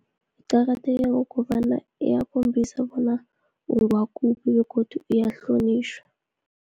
Kuqakatheke ngokobana iyakhombisa bona ungwakuphi, begodu iyahlonitjhwa.